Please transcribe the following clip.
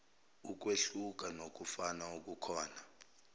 ukwehluka nokufana okukhona